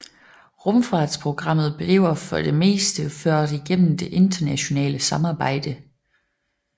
Rumfartsprogrammet bliver for det meste ført igennem det internationale samarbejde